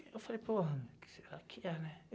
Eu falei, porra, quem sera que é, né?